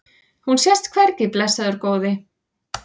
Hún sést hvergi, blessaður góði.